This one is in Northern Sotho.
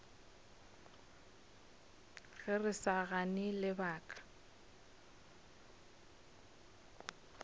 ge re sa gane lebaka